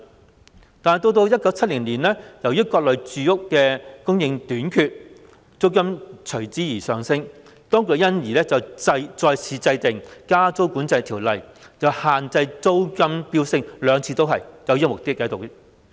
不過，到了1970年，由於各類住屋供應短缺，租金上升，當局因而再次制定《加租管制條例》，限制租金飆升，兩次立法均具有這項目的。